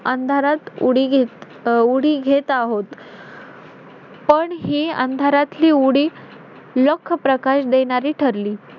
अंधारात उडी घेत~ अं उडी घेत आहोत. पण हे अंधारातला उडी, लख प्रकाश देणारी ठरली.